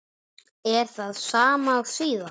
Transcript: Er það sama og síðast?